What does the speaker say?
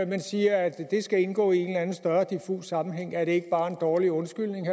men siger at det skal indgå i en eller anden større diffus sammenhæng er det ikke bare en dårlig undskyldning